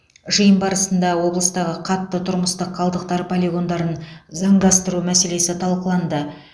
жиын барысында облыстағы қатты тұрмыстық қалдықтар полигондарын заңдастыру мәселесі талқыланды